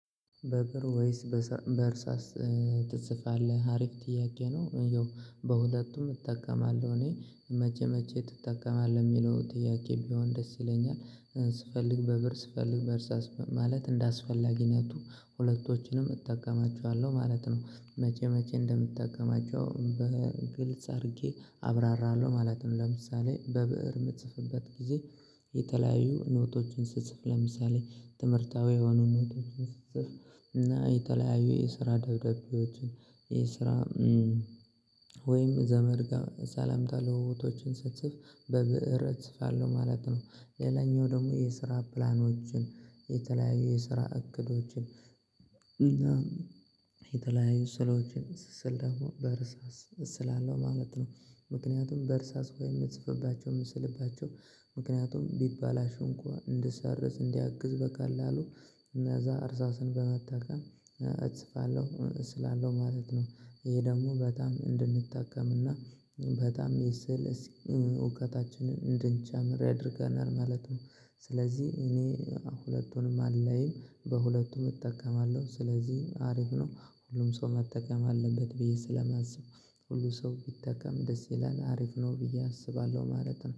በብእር ወይስ በእርሳስ ትጽፋለህ? አሪፍ ጥያቄ ነው ያው በሁለቱም እጠቀማለሁ እኔ መቼ መቼ ትጠቀማለህ የሚለው ጥያቄ ቢሆን ደስ ይለኛል ስፈልግ በብእር ስፈልግ በእርሳስ ማለት እንደአስፈላጊነቱ ሁለቶችንም እጠቀማቸዋለሁ ማለት ነው። መቼ መቼ እንደምጠቀማቸው በግልጽ አድርጌ አብራራለሁ ማለት ነው። ለምሳሌ በብእር የምትጽፍበት ጊዜ የተለያዩ ኖቶችን ስጽፍ ለምሳሌ ትምህርታዊ የሆኑ ኖቶችን ስትጽፍ እና የተለያዩ የስራ ደብዳቤዎችን የስራ ወይም ዘመድ ጋር ሰላምታ ለውዉጦችን ስጽፍ በብእር እጽፋለሁ ማለት ነው። ሌላኛው ደግሞ የስራ ፕላኖችን የተለያዩ የስራ እቅዶችን እና የተለያዩ ስዕሎችን ስስል ደግሞ በርሳስ እስላለሁ ማለት ነው። ምክንያቱም በእርሳስ የምጽፍባቸው ምስልባቸው ምክንያቱም ቢበላሹ እንኳን እንድሰርዝ እንዲያግዝ በቀላሉ እና እዛ እርሳስን በመጠቀም እጽፋለሁ እስላለሁ ማለት ነው። ይሄ ደግሞ በጣም እንድንጠቀምና በጣም የስዕል እውቀታችንን እንድንጨምር ያደርገናል ማለት ነው። ስለዚህ እኔ ሁለቱንም አለኝ በሁለቱም እጠቀማለሁ ስለዚህ አሪፍ ነው ሁሉም ሰው መጠቀም አለበት ብዬ ስለማስብ ሁሉ ሰው ቢጠቀም ደስ ይላል አሪፍ ነው ብዬ አስባለሁ ማለት ነው